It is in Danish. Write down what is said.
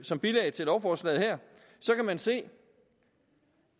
som bilag til lovforslaget her kan man se